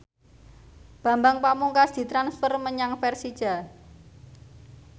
Bambang Pamungkas ditransfer menyang Persija